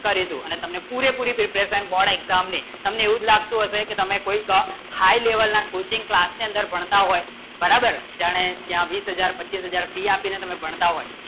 કરી દુ અને તમને પુરી પુરી preparation board exam ની તમને એવું લાગતું અંશે કી તમને કોઈ high level ના coaching class centre ના બનતા હોય બરાબર તમે બીસ હાજર પચીસ હાજર fee અપીલી તમે બનતા હોય